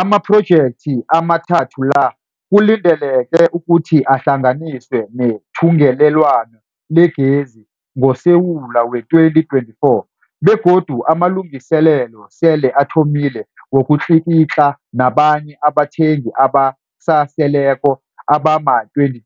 Amaphrojekthi amathathu la kulindeleke ukuthi ahlanganiswe nethungelelwano legezi ngoSewula wee-2024 begodu amalungiselelo sele athomile wokutlikitla nabanye abathengi abasaseleko abama-22